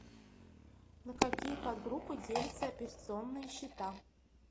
на какие подгруппы делятся операционные счета